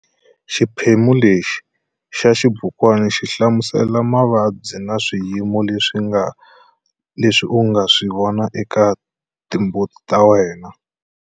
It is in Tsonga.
Xiphemu lexi xa xibukwana xi hlamusela mavabyi na swiyimo leswi u nga swi vonaka eka timbuti ta wena.